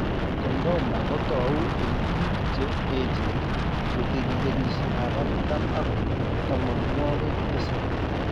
Chordoma ko tou eng' biko che echen chetinye kenyishekab artam ak tamanwok tisab.